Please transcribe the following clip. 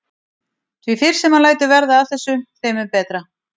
Því fyrr sem hann lætur verða af þessu þeim mun betra.